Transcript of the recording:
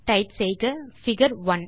type செய்க figure 1